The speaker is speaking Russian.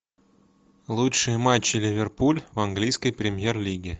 лучшие матчи ливерпуль в английской премьер лиге